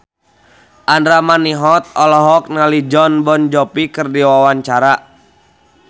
Andra Manihot olohok ningali Jon Bon Jovi keur diwawancara